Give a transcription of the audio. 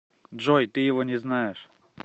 джой ты его не знаешь